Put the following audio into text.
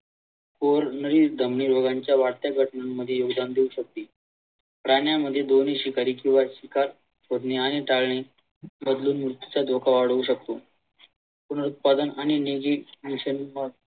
प्राण्यांमध्ये शिकारी किंवा शिकार करणे आणि प्राणी धोखा अडवू शकतो.